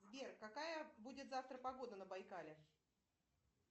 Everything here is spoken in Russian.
сбер какая будет завтра погода на байкале